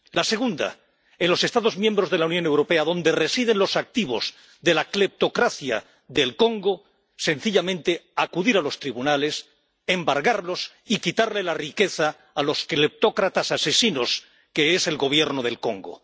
La segunda, en los Estados miembros de la Unión Europea, donde residen los activos de la cleptocracia del Congo, sencillamente acudir a los tribunales, embargarlos y quitarles la riqueza a los cleptócratas asesinos que son el Gobierno del Congo.